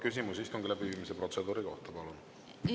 Küsimus istungi läbiviimise protseduuri kohta, palun!